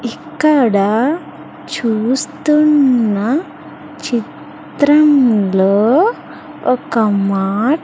ఇక్కడ చూస్తున్న చిత్రంలో ఒక మాట్--